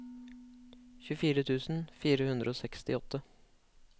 tjuefire tusen fire hundre og sekstiåtte